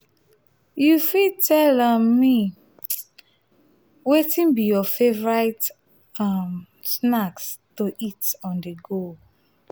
you fit tell um me um wetin be your favorite um snacks to eat on-the-go?